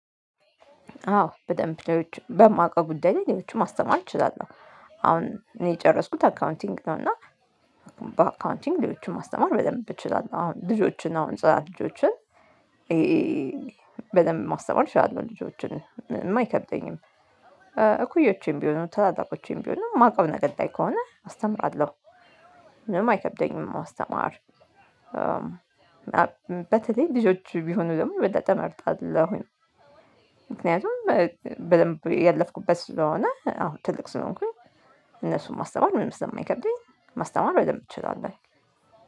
አዎ በደንብ በማውቀው ጉዳይ ላይ ሌሎችም ማስተማር እችላለሁ። አሁን እኔ የጨረስኩት አካውንቲንግ ነው። እና በአካውንቲንግ ሌሎችን ማስተማር በደንብ እችላለሁ። አሁን ልጆችን አሁን ስራ ልጆችን በደንብ ማስተማር ይሻላል። ልጆችን ምንም አይከብደኝም። እኩዮቼም ቢሆኑ ታላላቆቼም ቢሆኑ የማውቀው ነገር ላይ ከሆነ አስተምራለሁ። ምንም አይከብደኝም ማስተማር በተለይ ልጆች ቢሆኑ ደግሞ የበለጠ እመርጣለሁኝ። ምክንያቱም በደንብ ያለፍኩበት ስለሆነ አሁን ትልቅ ስለሆንኩኝ እነሱን ማስተማር ምንም ስለማይከብደኝ ማስተማር በደንብ እችላላሁ።